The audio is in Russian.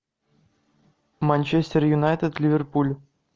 манчестер юнайтед ливерпуль